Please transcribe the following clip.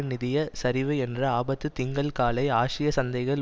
நிதிய சரிவு என்ற ஆபத்து திங்கள் காலை ஆசிய சந்தைகள்